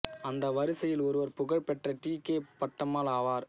அந்த வரிசையில் ஒருவர் புகழ் பெற்ற டி கே பட்டம்மாள் ஆவார்